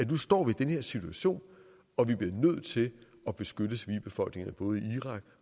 nu står i den her situation og at vi bliver nødt til at beskytte civilbefolkningerne både i irak